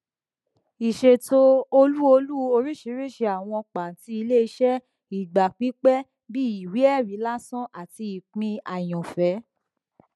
ìṣètò ọlú ọlú oríṣiríṣi àwọn pàtì iléiṣẹ ìgbà pípẹ bíi ìwéẹrí làsàn àti ìpín àyànfẹ